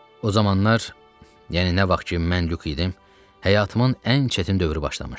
O zamanlar, yəni nə vaxt ki mən Lyuk idim, həyatımın ən çətin dövrü başlamışdı.